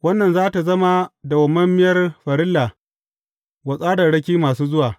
Wannan za tă zama dawwammamiyar farilla wa tsararraki masu zuwa.